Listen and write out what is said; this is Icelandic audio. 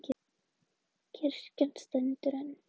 Kirkjan stendur enn